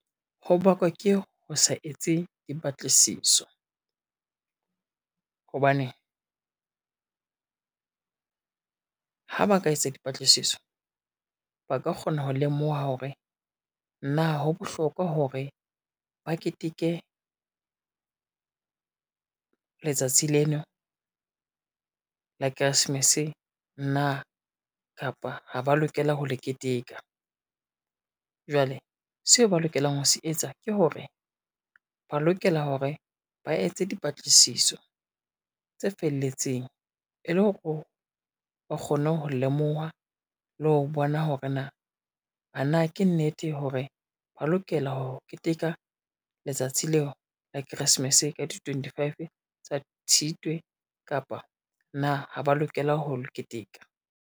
Ho bakwa ke ho sa etse dipatlisiso hobane, ha ba ka etsa dipatlisiso, ba ka kgona ho lemoha hore na ho bohlokwa hore ba keteke, letsatsi leno la Keresemes na kapa ha ba lokela ho le keteka. Jwale seo ba lokelang ho se etsa ke hore, ba lokela hore ba etse dipatlisiso tse felletseng e le hore ba kgone ho lemoha le ho bona hore na, a na ke nnete hore ba lokela ho keteka letsatsi leo la Keresemese ka di twenty five tsa Tshitwe kapa na ha ba lokela ho keteka.